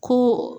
Ko